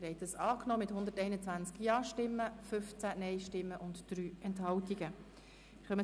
Sie haben die Ziffer 2 mit 121 Ja-, 15 NeinStimmen und 3 Enthaltungen angenommen.